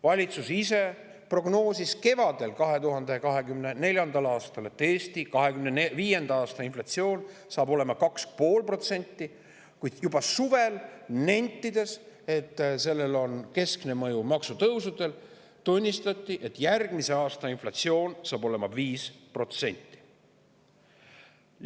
Valitsus ise prognoosis 2024. aasta kevadel, et Eestis on 2025. aastal inflatsioon 2,5%, kuid juba suvel – nentides, et sellele on keskne mõju maksutõusudel – tunnistati, et järgmisel aastal on inflatsioon 5%.